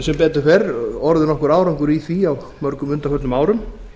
sem betur fer orðið nokkur árangur í því á mörgum undanförnum árum